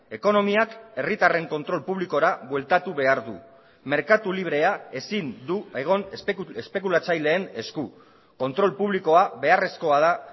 ekonomiak herritarren kontrol publikora bueltatu behar du merkatu librea ezin du egon espekulatzaileen esku kontrol publikoa beharrezkoa da